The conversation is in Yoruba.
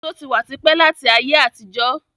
Èso tí wá típẹ̀ láti ayé àtijó